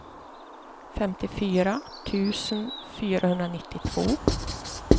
femtiofyra tusen fyrahundranittiotvå